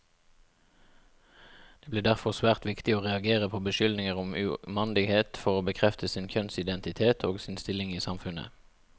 Det ble derfor svært viktig å reagere på beskyldninger om umandighet for å bekrefte sin kjønnsidentitet, og sin stilling i samfunnet.